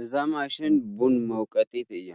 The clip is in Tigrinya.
እዛ ማሽን ቡን መውቀጢት እያ፡፡